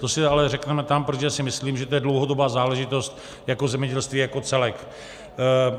To si ale řekneme tam, protože si myslím, že to je dlouhodobá záležitost jako zemědělství jako celek.